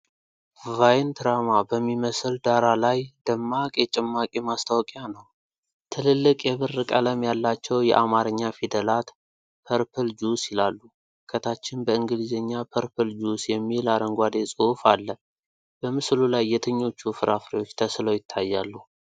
ቫይንትራማ በሚመስል ዳራ ላይ ደማቅ የጭማቂ ማስታወቂያ ነው። ትልልቅ የብር ቀለም ያላቸው የአማርኛ ፊደላት “ፐርፕል ጁስ” ይላሉ፣ ከታችም በእንግሊዝኛ “ፐርፕል ጁስ” የሚል አረንጓዴ ፅሁፍ አለ። በምስሉ ላይ የትኞቹ ፍራፍሬዎች ተስለው ይታያሉ?